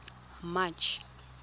march